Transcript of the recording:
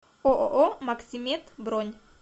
ооо максимед бронь